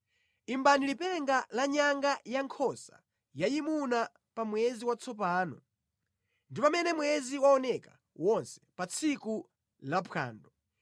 Imbani lipenga la nyanga ya nkhosa yayimuna pa mwezi watsopano, ndi pamene mwezi waoneka wonse, pa tsiku la phwando;